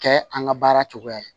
Kɛ an ka baara cogoya ye